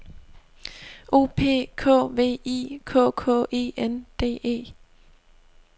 O P K V I K K E N D E